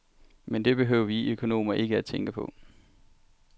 Men det behøver vi økonomer ikke tænke på.